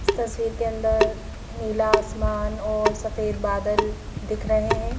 इस तस्वीर के अंदर नीला आसमान और सफेद बादल दिख रहे हैं।